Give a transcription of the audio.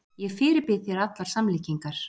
Ég fyrirbýð þér allar samlíkingar.